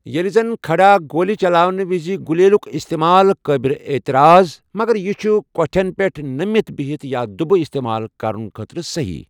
ییٚلہِ زَن کھڑا گوٗلہِ چلاونہٕ وزِ غلیلُک استعمال قابلِ اعتراض ، مگر یہِ چھُ کۄٹھٮ۪ن پٮ۪ٹھ نٔمِتھ، بِہتھ یا دُبہٕ استعمال کرنہٕ خٲطرٕسہی ۔